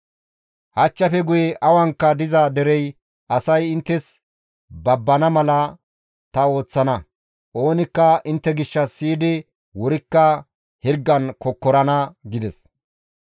Hachchafe guye awankka diza dere asay inttes babbana mala ta ooththana; oonikka intte gishshas siyidi wurikka hirgan kokkorana» gides.